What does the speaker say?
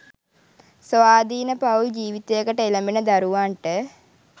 ස්වාධීන පවුල් ජීවිතයකට එළඹෙන දරුවන්ට